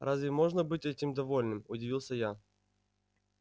разве можно быть этим довольным удивился я